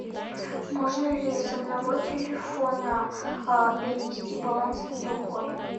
можно ли с одного телефона перенести баланс на другой